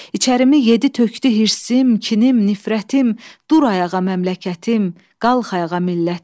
İçərimi yedi tökdü hirsəm, kinim, nifrətim, dur ayağa məmləkətim, qalx ayağa millətim.